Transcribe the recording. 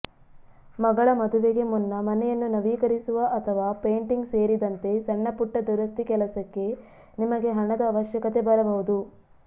ಮಗಳ ಮದುವೆಗೆ ಮುನ್ನ ಮನೆಯನ್ನು ನವೀಕರಿಸುವ ಅಥವಾ ಪೇಂಟಿಂಗ್ ಸೇರಿದಂತೆ ಸಣ್ಣಪುಟ್ಟ ದುರಸ್ತಿ ಕೆಲಸಕ್ಕೆ ನಿಮಗೆ ಹಣದ ಅವಶ್ಯಕತೆ ಬರಬಹುದು